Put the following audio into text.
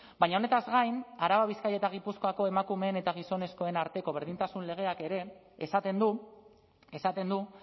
baina honetaz gain araba bizkaia eta gipuzkoako emakumeen eta gizonezkoen arteko berdintasun legeak ere esaten du esaten du